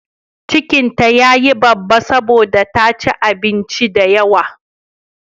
Cikin ta ya yi babba saboda ta ci abinci da yawa.